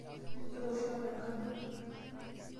Ituturo shoo tenkang ino?